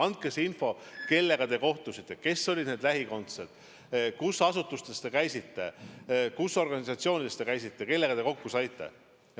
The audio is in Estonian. Andke info selle kohta, kellega te kohtusite, kes olid lähikondsed, kus asutustes te käisite, kus organisatsioonides te käisite, kellega te kokku saite.